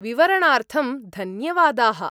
विवरणार्थं धन्यवादाः।